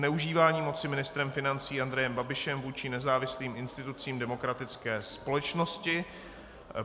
Zneužívání moci ministrem financí Andrejem Babišem vůči nezávislým institucím demokratické společnosti